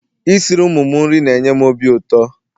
Isiri ụmụ m nri na-enye m ọbi ụtọ